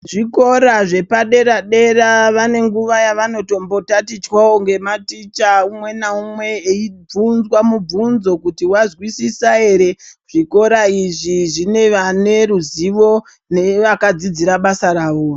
Zvikora zvepadera-dera, vane nguva yevanotombotatichwawo ngematicha ,umwe naumwe eibvunzwa mubvunzo kuti wazwisisa ere. Zvikora izvi zvine vane ruzivo nevakadzidzira basa ravo.